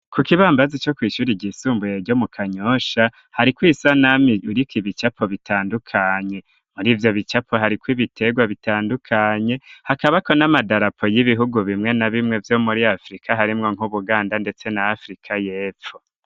Ku kibambazi, co kw'ishuri ryisumbuye, ryo mu Kanyosha, hariko isanamu, iriko ibicapo bitandukanye; muri ivyo bicapo, hariko ibiterwa, bitandukanye; hakabako n'amadarapo, y'ibihugu bimwe na bimwe, vyo muri Afrika; harimwo nk'Ubuganda, ndetse na Afrika y'epfo.